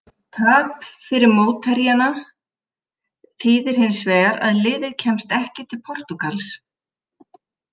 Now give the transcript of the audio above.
Tap fyrir mótherjana þýðir hins vegar að liðið kemst ekki til Portúgals.